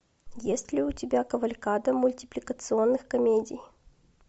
есть ли у тебя кавалькада мультипликационных комедий